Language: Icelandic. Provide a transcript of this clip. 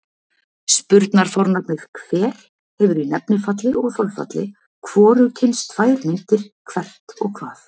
Spurnarfornafnið hver hefur í nefnifalli og þolfalli hvorugkyns tvær myndir, hvert og hvað.